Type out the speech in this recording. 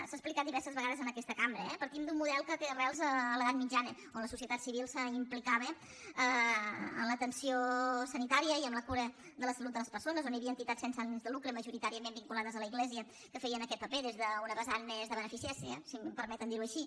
s’ha explicat diverses vegades en aquesta cambra eh partim d’un model que té arrels a l’edat mitjana en què la societat civil s’implicava en l’atenció sanitària i en la cura de la salut de les persones en què hi havia entitats sense ànim de lucre majoritàriament vinculades a l’església que feien aquest paper des d’una vessant més de beneficència si em permeten dirho així